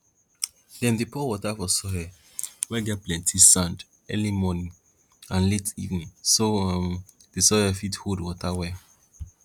dem dey pour water for soil wey get plenti sand early morning and late evening so um di soil fit hold water well